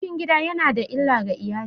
Rikicin gida ya na da illa ga iyali.